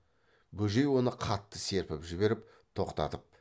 бөжей оны қатты серпіп жіберіп тоқтатып